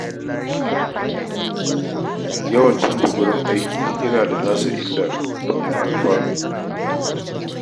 Yawan canja wurin aiki yana da tasa illar da kuma alfano